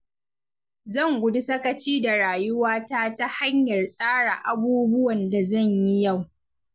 Zan guji sakaci da rayuwata ta hanyar tsara abubuwan da zan yi yau.